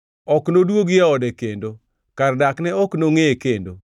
Ok nodwogi e ode kendo; kar dakne ok nongʼeye kendo.